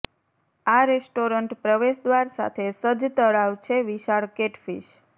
આ રેસ્ટોરન્ટ પ્રવેશદ્વાર સાથે સજ્જ તળાવ છે વિશાળ કેટફિશ